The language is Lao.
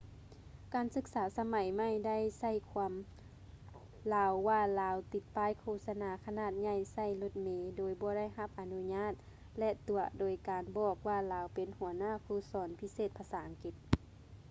ການສຶກສາສະໄໝໃໝ່ໄດ້ໃສ່ຄວາມລາວວ່າລາວຕິດປ້າຍໂຄສະນາຂະໜາດໃຫຍ່ໃສ່ລົດເມໂດຍບໍ່ໄດ້ຮັບອະນຸຍາດ ແລະ ຕົວະໂດຍການບອກວ່າລາວເປັນຫົວໜ້າຄູສອນພິເສດພາສາອັງກິດ